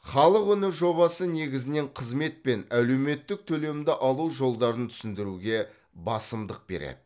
халық үні жобасы негізінен қызмет пен әлеуметтік төлемді алу жолдарын түсіндіруге басымдық береді